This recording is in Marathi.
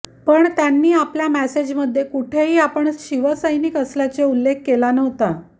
पण त्यांनी आपल्या मेसेजमध्ये कुठेही आपण शिवसैनिक असल्याचा उल्लेख केला नव्हता